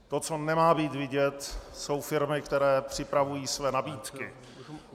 To, co nemá být vidět, jsou firmy, které připravují své nabídky.